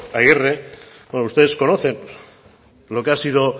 aguirre como ustedes conocen lo que ha sido